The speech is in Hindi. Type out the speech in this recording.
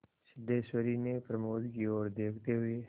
सिद्धेश्वरी ने प्रमोद की ओर देखते हुए